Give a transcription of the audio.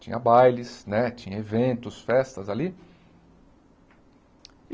Tinha bailes, né tinha eventos, festas ali.